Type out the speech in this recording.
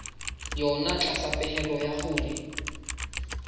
yona tlasa pehelo ya hore